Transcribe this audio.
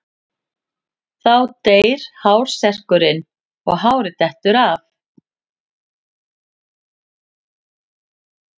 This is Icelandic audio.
Þá deyr hársekkurinn og hárið dettur af.